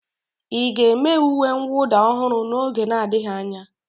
Ị ga-eme uwe mwụda ọhụrụ n'oge n'adịghị anya?